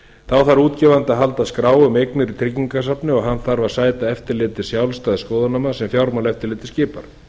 þá þarf útgefandi að halda skrá um eignir í tryggingasafni og hann þarf að sæta eftirliti sjálfstæðs skoðunarmanns sem fjármálaeftirlitið skipar